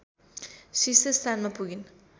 शीर्ष स्थानमा पुगिन्